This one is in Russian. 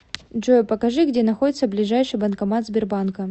джой покажи где находится ближайший банкомат сбербанка